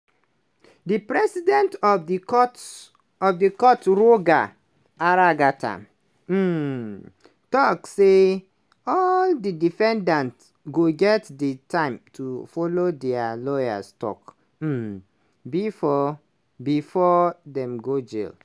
di president of di courts of the court roger aragata um tok say all di defendants go get di time to follow dia lawyers tok um bifor before dem go jail.